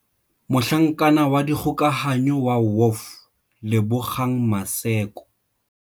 Mohlanka wa dikgokahanyo wa WOF Lebogang Maseko.